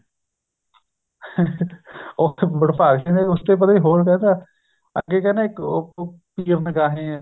ਉੱਥੇ ਵਡਭਾਗ ਸਿੰਘ ਦੇ ਉਸਤੇ ਪਤਾ ਨੀ ਹੋਰ ਕਿਹ ਤਾ ਅੱਗੇ ਕਹਿੰਦਾ ਇੱਕ ਉਹ ਪੀਰ ਨਿਗਾਹੇ ਆ